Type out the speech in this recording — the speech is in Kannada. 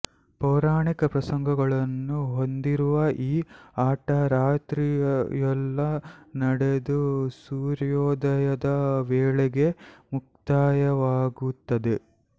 ಪೌರಾಣಿಕ ಪ್ರಸಂಗಗಳನ್ನು ಹೊಂದಿರುವ ಈ ಆಟ ರಾತ್ರಿಯೆಲ್ಲಾ ನಡೆದು ಸೂರ್ಯೋದಯದ ವೇಳೆಗೆ ಮುಕ್ತಾಯವಾಗುತ್ತದೆ